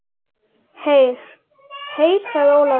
Heyr, heyr sagði Ólafur.